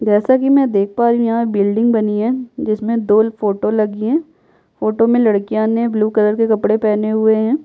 जैसा कि मैं देख पा रही हूँ यहाँ बिल्डिंग बनी है जिसमें दो फोटो लगी हैं फोटो में लड़कियाँ ने ब्लू कलर के कपड़े पहने हुए हैं।